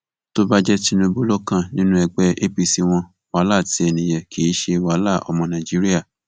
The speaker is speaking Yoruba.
tó bá jẹ tinubu ló kàn nínú ẹgbẹ apc wọn wàhálà tiẹ nìyẹn kì í ṣe wàhálà ọmọ nàìjíríà